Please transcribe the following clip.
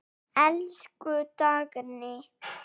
Elsku Dagný.